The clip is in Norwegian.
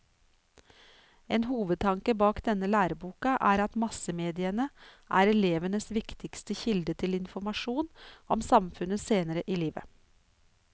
En hovedtanke bak denne læreboka er at massemediene er elevenes viktigste kilde til informasjon om samfunnet senere i livet.